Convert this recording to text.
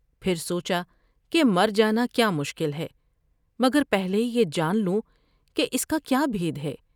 پھر سوچا کہ مر جانا کیا مشکل ہے مگر پہلے یہ جان لوں کہ اس کا کیا بھید ہے ۔